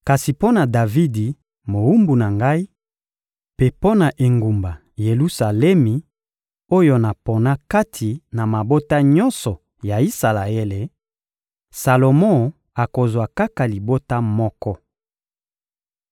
Kasi mpo na Davidi, mowumbu na Ngai, mpe mpo na engumba Yelusalemi oyo napona kati na mabota nyonso ya Isalaele, Salomo akozwa kaka libota moko.